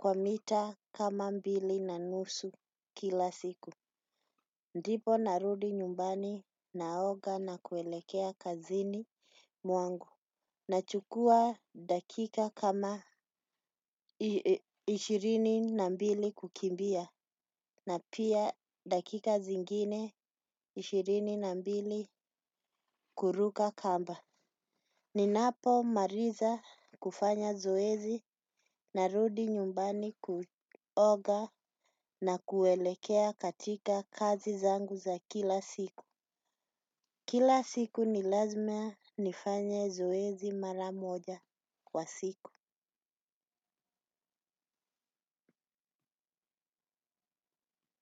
Kwa mita kama mbili na nusu kila siku. Ndipo narudi nyumbani naoga na kuelekea kazini mwangu. Nachukua dakika kama ishirini na mbili kukimbia. Na pia dakika zingine ishirini na mbili kuruka kamba. Ninapo maliza kufanya zoezi narudi nyumbani kuoga na kuelekea katika kazi zangu za kila siku. Kila siku nilazima nifanye zoezi mara moja kwa siku.